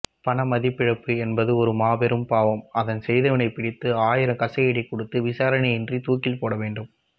பண மதிப்பிழப்பு என்பது ஒரு மாபெரும் பாவம் அதை செய்தவனை பிடித்து ஆயிரம் கசையடி கொடுத்து விசாரணையின்றி தூக்கில் போடவேண்டும்